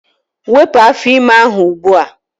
Wepụ afọ ime ahụ ugbua!